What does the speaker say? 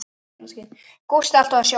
Gústi alltaf á sjónum.